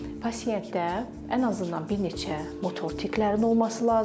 pasientdə ən azından bir neçə motor tiklərinin olması lazımdır.